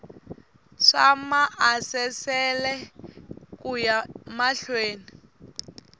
swa maasesele ku ya mahlweni